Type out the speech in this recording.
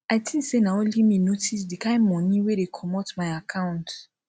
i think say na only me notice the kin money wey dey comot my account